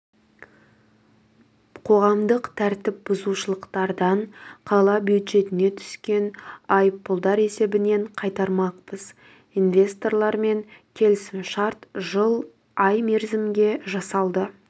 қоғамдық тәртіп бұзушылықтардан қала бюджетіне түскен айыппұлдар есебінен қайтармақпыз инвесторлармен келісім-шарт жыл ай мерзімге жасалды